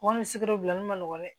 Wa ni sigiyɔrɔ bila ne ma nɔgɔn dɛ